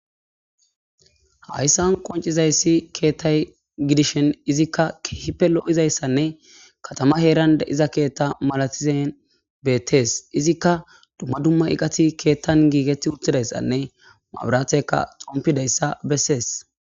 hayssan qoncizayssi keettay gidishen izikka keehipe lo7izayssanne katama heeran de7iza keetta malatizen beettees izikka dumma dumma iqati keettan giigeti uttidayssanne maabiraatheka xompideyssa bessees